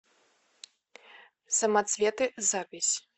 самоцветы запись